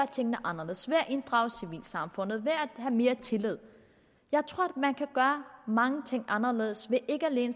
tingene anderledes ved at inddrage civilsamfundet ved at have mere tillid jeg tror man kan gøre mange ting anderledes